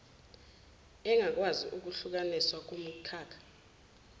engakwazi ukuhlukaniswa kumikhakha